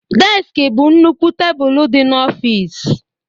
Deski bụ nnukwu tebụl dị n'ọfịs